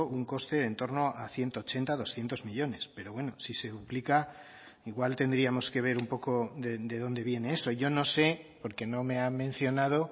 un coste en torno a ciento ochenta doscientos millónes pero bueno si se duplica igual tendríamos que ver un poco de dónde viene eso yo no sé porque no me ha mencionado